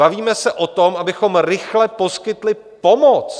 Bavíme se o tom, abychom rychle poskytli pomoc.